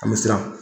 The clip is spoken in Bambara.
A bɛ siran